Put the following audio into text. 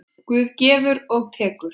Guð gefur og tekur.